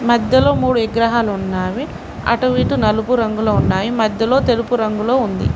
మధ్యలో మూడు విగ్రహాలు ఉన్నావి. అటు ఇటు నలుపు రంగులో ఉన్నాయి. మధ్యలో తెలుపు రంగులో ఉంది.